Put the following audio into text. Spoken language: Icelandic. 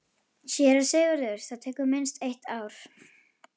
SÉRA SIGURÐUR: Það tekur minnst eitt ár.